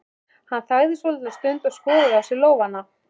Hann þagði svolitla stund og skoðaði á sér lófana.